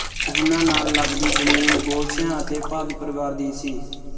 ਉਹਨਾਂ ਨਾਲ ਲੱਗਦੀ ਜ਼ਮੀਨ ਗੋਲਛਿਆਂ ਅਤੇ ਭਾਦੂ ਪਰਿਵਾਰ ਦੀ ਸੀ